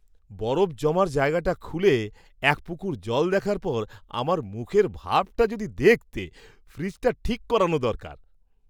বরফ জমার জায়গাটা খুলে এক পুকুর জল দেখার পর আমার মুখের ভাবটা যদি দেখতে! ফ্রিজটা ঠিক করানো দরকার।